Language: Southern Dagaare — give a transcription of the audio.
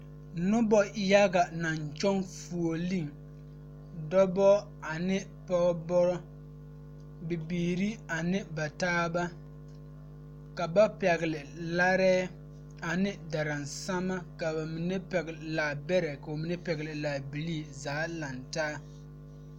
Noba yaɡa naŋ kyɔɡe fuoleŋ dɔbɔ ane pɔɔbɔ bibiiri ane ba taaba ka ba pɛɡele larɛɛ ane daransama ka ba mine pɛɡele laabɛrɛ ka ba mine pɛɡele laabilii a zaa lantaa.